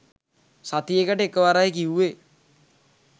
සතියකට එකවරයි කිවුවෙ